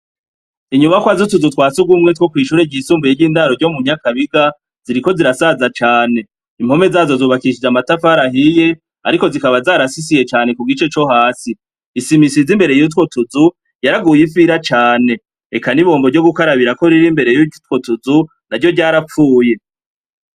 Inyubakwa z'utuzu twa sugumwe two kw'ishure ryisumbuye ry'indaro ryo mu Nyakabiga, ziriko zirasaza cane. impome zazo zubakishijwe amatafari ahiye, ariko zikaba zarasisiye cane kugice co hasi. Isima isize imbere yutwo tuzu, yaraguye ifira cane, eka n'ibombo yo gukarabirako rir'imbere yutwo tuzu naryo ryarapfuye.